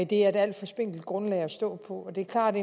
det er et alt for spinkelt grundlag at stå på det er klart